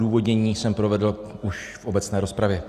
Odůvodnění jsem provedl už v obecné rozpravě.